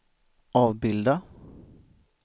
avbilda